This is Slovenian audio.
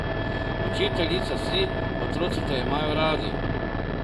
Učiteljica si, otroci te imajo radi.